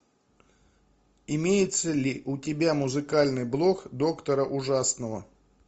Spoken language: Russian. имеется ли у тебя музыкальный блок доктора ужасного